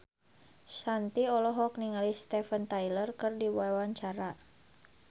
Shanti olohok ningali Steven Tyler keur diwawancara